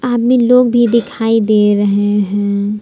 आदमी लोग भी दिखाई दे रहे हैं ।